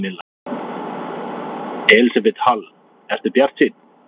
Elísabet Hall: Ertu bjartsýnn?